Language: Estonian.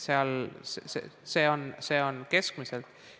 See on nii keskmiselt.